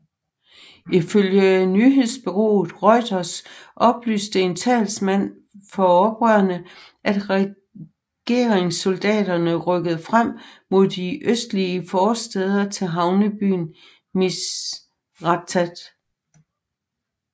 Ifølge nyhedsbureauet Reuters oplyste en talsmand for oprørerne at regeringssoldaterne rykkede frem mod de østlige forstæder til havnebyen Misratah